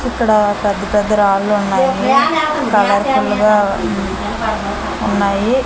ఇక్కడ పెద్ద పెద్ద రాళ్ళు ఉన్నాయి కలర్ ఫుల్గా ఉన్నాయి.